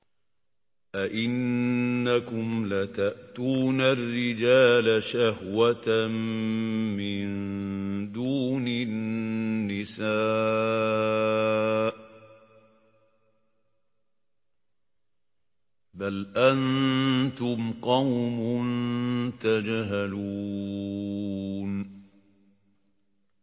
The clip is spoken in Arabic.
أَئِنَّكُمْ لَتَأْتُونَ الرِّجَالَ شَهْوَةً مِّن دُونِ النِّسَاءِ ۚ بَلْ أَنتُمْ قَوْمٌ تَجْهَلُونَ